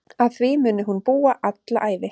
Að því muni hún búa alla ævi.